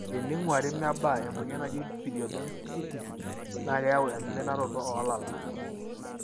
teninguari mebaa, emoyian naji"periodontitis "na keyau eminaroto olala.